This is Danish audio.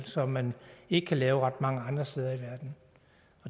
som man ikke kan lave ret mange andre steder i verden